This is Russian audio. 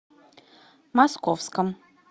московском